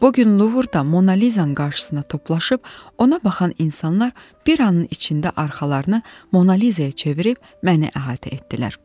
Bu gün Luvurda Monaliza-nın qarşısına toplaşıb ona baxan insanlar bir anın içində arxalarını Monaliza-ya çevirib məni əhatə etdilər.